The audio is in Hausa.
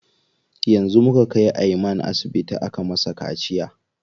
Yanzu muka kai Ayman asibiti aka masa kaciya.